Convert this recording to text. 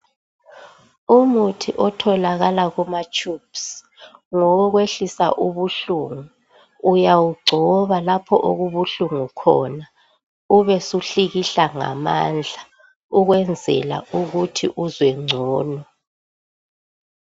Umuthi othalakala kuma tubes ngowokwehlisa ubuhlungu, uyawugcoba lapho okubuhlungu khona ubusuhlikihla ngamandla ukwenzela ukuthi uzwe ngcono.